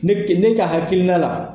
Ne ke ne ka hakilina la,